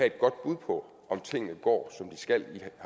et godt bud på om tingene går som de skal